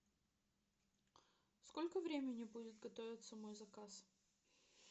сколько времени будет готовиться мой заказ